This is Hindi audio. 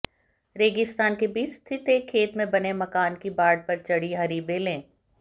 रेगिस्तान के बीच स्थित एक खेत में बने मकान की बाड़ पर चढ़ी हरी बेलें